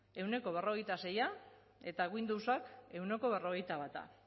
ehuneko berrogeita sei eta windowsa ehuneko berrogeita bat